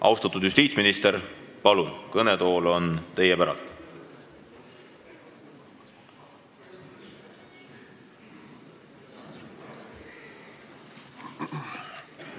Austatud justiitsminister, palun, kõnetool on teie päralt!